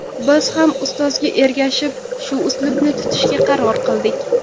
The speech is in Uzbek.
Biz ham ustozga ergashib, shu uslubni tutishga qaror qildik.